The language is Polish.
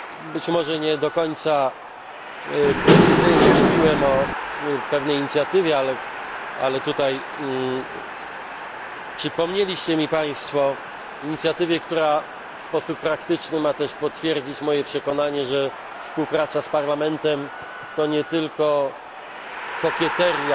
Być może nie do końca precyzyjnie mówiłem o pewnej inicjatywie, o której tutaj przypomnieliście mi Państwo, inicjatywie, która w sposób praktyczny ma też potwierdzić moje przekonanie, że współpraca z Parlamentem to nie tylko kokieteria.